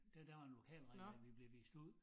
Der der var en lokal regel med at vi blev vist ud